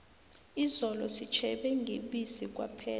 izolo sitjhebe ngebisi kwaphela